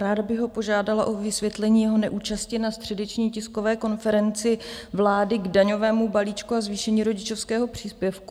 Ráda bych ho požádala o vysvětlení jeho neúčasti na středeční tiskové konferenci vlády k daňovému balíčku a zvýšení rodičovského příspěvku.